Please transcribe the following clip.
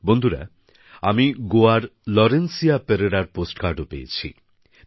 বন্ধুরা আমি গোয়ার লরেন্সিয়া পেরেরার পোস্টকার্ডও পেয়েছি